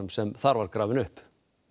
sem þar var grafinn upp